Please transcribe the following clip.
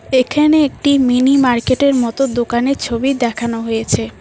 এখানে একটি মিনি মার্কেটের মতো দোকানের ছবি দেখানো হয়েছে।